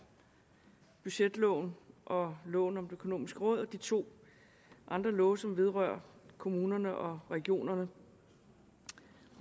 budgetloven og loven om det økonomiske råd samt de to andre love som vedrører kommunerne og regionerne